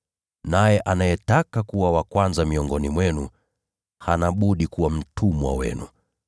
naye anayetaka kuwa wa kwanza miongoni mwenu hana budi kuwa mtumwa wenu: